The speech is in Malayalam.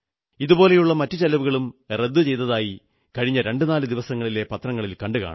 ഇതുപോലെയുള്ള മറ്റു ചെലവുകളും റദ്ദു ചെയ്തതായി കഴിഞ്ഞ രണ്ടുനാലു ദിവസങ്ങളിലെ പത്രത്തിൽ കണ്ടുകാണും